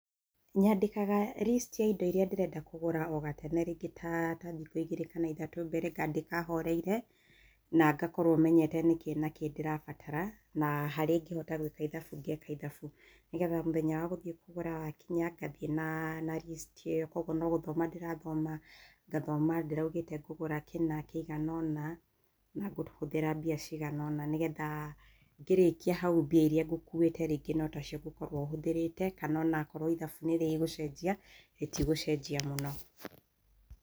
Nyandĩkaga list ya indo iria ndĩrenda kũgũra ogatene rĩngĩ ta ta thikũ igĩrĩ kana ithatũ mbere ngandĩka horeire, na ngakorwo menyete nĩ kĩ na kĩ ndĩrabatara, na harĩa ingĩhota gwĩka ithabu ngeka ithabu, nigetha mũthenya wa gũthiĩ kũgũra wakinya ngathiĩ na na list ĩyo, koguo no gũthoma ndĩrathoma, ngathoma ndĩraugĩte ngũgũra kĩna kĩigana ũna na ngũhũthĩra mbia cigana ũna nĩgetha ngĩrĩkia hau mbia iria ngũkuĩte rĩngĩ no tacio ngũkorwo hũthĩrĩte kana onakorwo ithabu nĩ rĩgũcenjia rĩtigũcenjia mũno.